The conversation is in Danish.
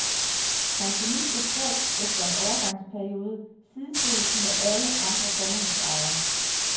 Pensionister skal, efter en overgangsperiode, sidestilles med alle andre sommerhusejere.